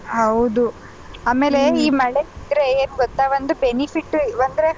ಹೌದು ಆಮೇಲೆ ಈ ಮಳೆ ಬಿದ್ರೆ ಏನು ಗೊತ್ತ ಒಂದು benefit ಅಂದ್ರೆ.